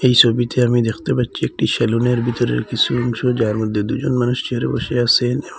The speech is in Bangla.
এই ছবিতে আমি দেখতে পাচ্ছি একটি সেলুনের ভিতরের কিছু অংশ যার মধ্যে দুজন মানুষ চেয়ারে বসে আসেন।